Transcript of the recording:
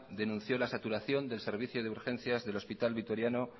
denunció la saturación del servicio de urgencias del hospital vitoriano